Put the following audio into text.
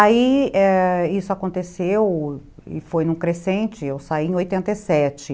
Aí, ãh, isso aconteceu e foi num crescente, eu saí em oitenta e sete